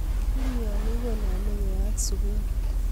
kiimionik koname keyaat sukul.